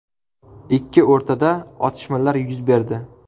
Ikki o‘rtada otishmalar yuz berdi.